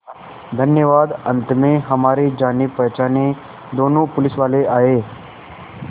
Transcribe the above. धन्यवाद अंत में हमारे जानेपहचाने दोनों पुलिसवाले आए